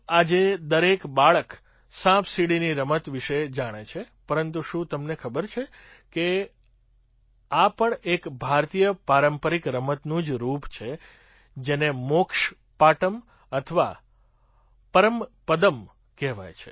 આજે દરેક બાળક સાપસીડીની રમત વિશે જાણે છે પરંતુ શું તમને ખબર છે કે આ પણ એક ભારતીય પારંપરિક રમતનું જ રૂપ છે જેને મોક્ષ પાટમ અથવા પરમપદમ્ કહેવાય છે